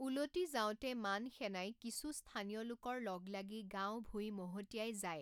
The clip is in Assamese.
উলটি যাওঁতে মান সেনাই কিছু স্থানীয় লোকৰ লগ লাগি গাঁও ভূই মহতিয়াই যায়।